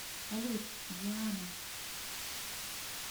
салют диана